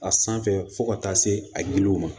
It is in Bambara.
A sanfɛ fo ka taa se a ye liliw ma